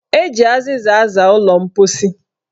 Eji azịza aza ụlọ mposi.